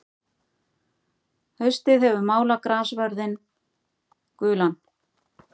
Haustið hefur málað grassvörðinn gulan.